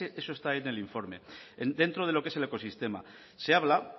eso está en el informe dentro de lo que es el ecosistema se habla